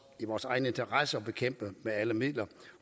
vores egen interesse at bekæmpe dem med alle midler